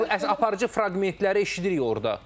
Yox, müəyyən aparıcı fraqmentləri eşidirik orda.